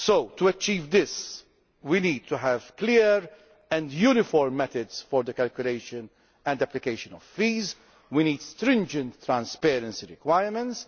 manner. To achieve this, we need to have clear and uniform methods for the calculation and application of fees, and stringent transparency requirements.